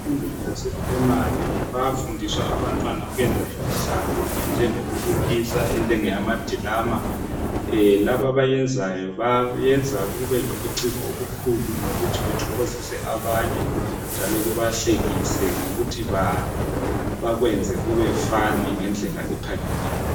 Emfundweni yaseprimary bayafundiswa abantwana ukwenza imidlalo enjengokubukisa enjengamadirama labo abayenzayo bayenza kube lobuciko obukhulu ngokuthi kuthokozise abanye njalo kubahlekise ngokuthi bakwenze kube fani ngedlela ephakemeyo.